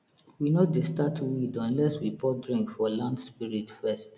we no dey start weed unless we pour drink for land spirit first